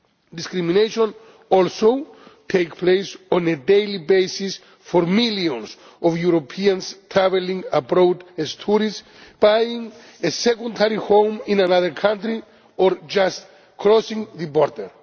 Discrimination also takes place on a daily basis for millions of Europeans travelling abroad as tourists, buying a second home in another country, or just crossing the border.